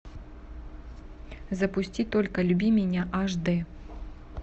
запусти только люби меня аш д